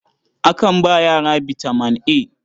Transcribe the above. Akan ba yara bitaman A.